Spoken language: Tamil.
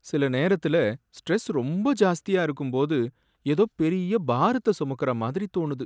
சில நேரத்துல ஸ்ட்ரெஸ் ரொம்ப ஜாஸ்தியா இருக்கும்போது, எதோ பெரிய பாரத்தை சுமக்கிற மாதிரி தோணுது.